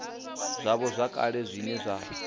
zwavho zwa kale zwine zwa